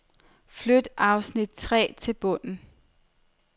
Flyt afsnit tre til bunden.